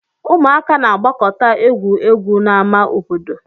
Ụmụaka na-agbakọta egwu egwu n'ama obodo